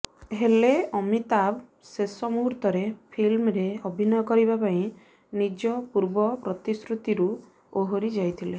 ହେଲେ ଅମିତାଭ୍ ଶେଷ ମୂହୁର୍ତରେ ଫିଲ୍ମରେ ଅଭିନୟ କରିବା ପାଇଁ ନିଜ ପୂର୍ବ ପ୍ରତିଶ୍ରୁତିରୁ ଓହରି ଯାଇଥିଲେ